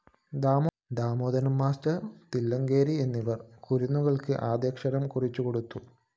Damodaran‍ master Thillankeri എന്നിവര്‍ കുരുന്നുകള്‍ക്ക് ആദ്യാക്ഷരം കുറിച്ചുകൊടുത്തു